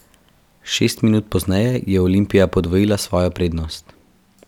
Šest minut pozneje je Olimpija podvojila svojo prednost.